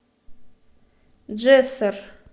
джессор